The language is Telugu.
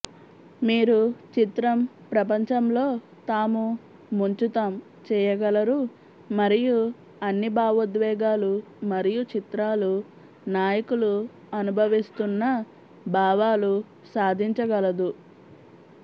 మీరు చిత్రం ప్రపంచంలో తాము ముంచుతాం చేయగలరు మరియు అన్ని భావోద్వేగాలు మరియు చిత్రాలు నాయకులు అనుభవిస్తున్న భావాలు సాధించగలదు